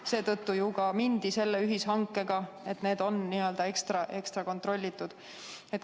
Ka seetõttu ju mindi selle ühishanke peale, et need vaktsiinid on ekstra kontrollitud.